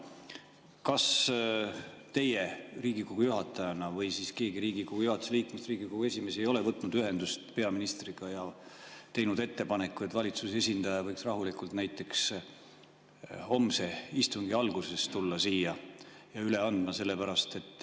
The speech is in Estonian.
Kas teie Riigikogu juhatajana või siis keegi Riigikogu juhatuse liikmetest, näiteks Riigikogu esimees, ei ole võtnud ühendust peaministriga ja teinud ettepanekut, et valitsuse esindaja võiks rahulikult näiteks homse istungi alguses tulla siia ja eelnõu üle anda?